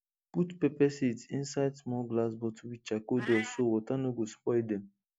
put pepper seeds inside small glass bottle with charcoal dust so water no go spoil dem